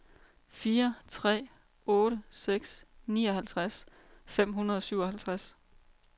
fire tre otte seks nioghalvtreds fem hundrede og syvoghalvtreds